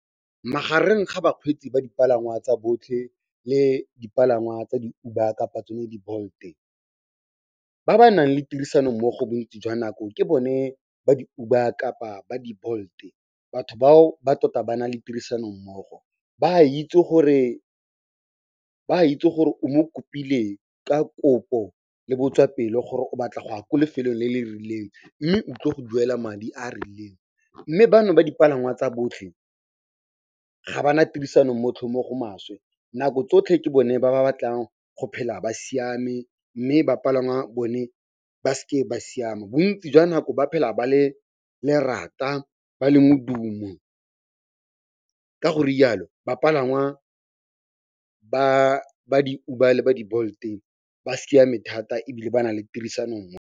Magareng ga bakgweetsi ba dipalangwa tsa botlhe le dipalangwa tsa di-Uber kapa tsone di-Bolt-e, ba ba nang le tirisanommogo bontsi jwa nako ke bone ba di-Uber kapa ba di-Bolt-e. Batho bao ba tota ba na le tirisanommogo, ba a itse gore o mo kopile ka kopo le botswapelo gore o batla go ya ko lefelong le le rileng mme o tlile go duela madi a a rileng mme bano ba dipalangwa tsa botlhe ga ba na tirisanommogo mo go maswe. Nako tsotlhe ke bone ba ba batlang go phela ba siame mme ba palangwa bone ba seke ba siama. Bontsi jwa nako ba phela ba le lerata ba le modumo ka go rialo bapalangwa ba di-Uber le ba di-Bolt-e ba siame thata ebile ba na le tirisano .